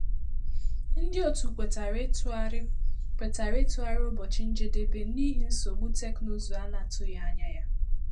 Ndị òtù kwètàrà ịtụgharị kwètàrà ịtụgharị ụbọchị njedebe n’ihi nsogbu teknụzụ a na-atụghị anya ya